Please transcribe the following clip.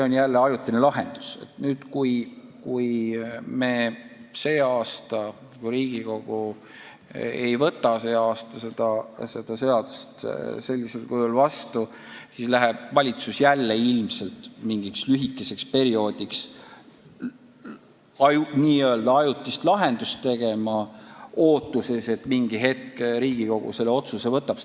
Nüüd, kui Riigikogu ka sel aastal seda seadust sellisel kujul vastu ei võta, siis läheb valitsus jälle ilmselt mingiks lühikeseks perioodiks n-ö ajutist lahendust tegema, ootuses, et mingi hetk Riigikogu selle otsuse langetab.